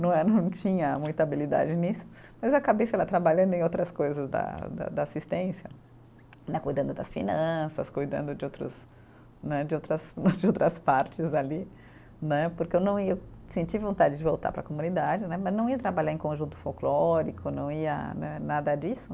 Não eh, não tinha muita habilidade nisso, mas acabei sei lá trabalhando em outras coisas da da da assistência né, cuidando das finanças, cuidando de outros né, de outras, de outras partes ali né, porque eu não ia, senti vontade de voltar para a comunidade né, mas não ia trabalhar em conjunto folclórico, não ia né nada disso.